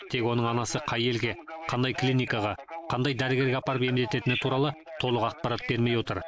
тек оның анасы қай елге қандай клиникаға қандай дәрігерге апарып емдететіні туралы толық ақпарат бермей отыр